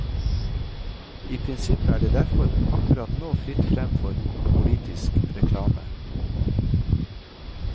I prinsippet er det derfor akkurat nå fritt frem for politisk reklame.